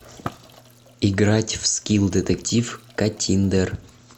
играть в скилл детектив каттиндер